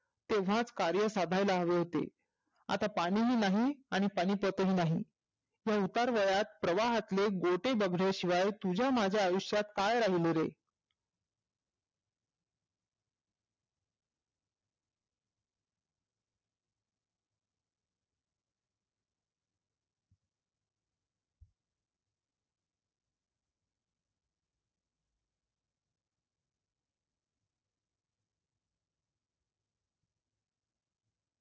तेव्हाच कार्य साधायला हवे होते. आता पाणि ही नाही आणि पानीपत ही नाही. या उतार वयात प्रवाहातले गोटे दबल्याशिवाय तुझ्या माझ्या आयुष्यात काय राहीले रे?